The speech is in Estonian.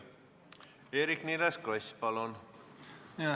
Eerik-Niiles Kross, palun!